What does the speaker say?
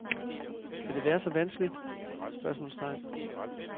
Kan det være så vanskeligt? spørgsmålstegn